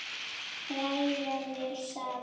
Hræra vel saman.